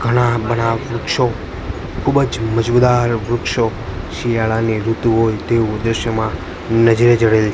ગણા બણા વૃક્ષો ખૂબ જ મજમુદાર વૃક્ષો શિયાળાની ઋતુ હોય તેવું દ્રશ્યમાન નજરે જડેલ--